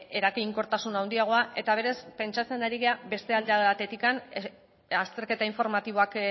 eraginkortasun handiagoa eta beraz pentsatzen ari gara beste alde batetik azterketa informatiboak